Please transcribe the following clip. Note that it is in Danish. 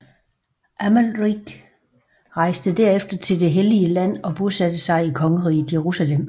Amalrik rejste derefter til Det hellige land og bosatte sig i Kongeriget Jerusalem